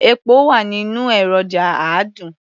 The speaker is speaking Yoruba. Epo wà nínú èròjà àádùn.